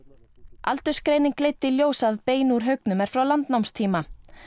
aldursgreining leiddi í ljós að bein úr haugnum er frá landnámstíma